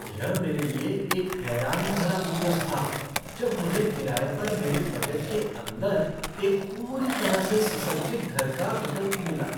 यह मेरे लिए एक हैरानी भरा बोनस था जब मुझे किराए पर मेरे बजट के अंदर एक पूरी तरह से सुसज्जित घर का विकल्प मिला।